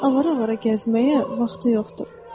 Onun avara-avara gəzməyə vaxtı yoxdur.